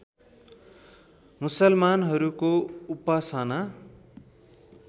मुसलमानहरूको उपासना